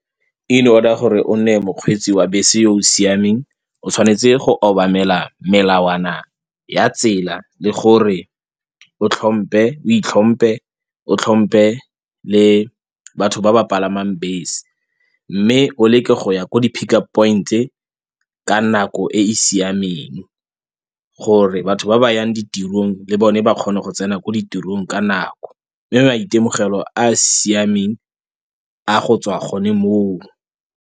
In order gore o nne mokgweetsi wa bese yo o siameng o tshwanetse go obamela melawana ya tsela le gore o itlhompe o tlhompe le batho ba ba palamang bese. Mme o leke go ya ko di-pick-up point-e ka nako e e siameng gore batho ba ba yang ditirong le bone ba kgone go tsena ko ditirong ka nako, mme maitemogelo a a siameng a go tswa gone moo.